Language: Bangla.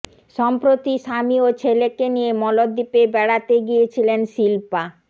সম্প্রতি স্বামী ও ছেলেকে নিয়ে মলদ্বীপে বেড়াতে গিয়েছিলেন শিল্পা